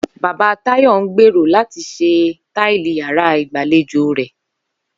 Bàbá Táyò̩ ń gbèrò àti s̩e táìlì yàrá ìgbàlejò rè̩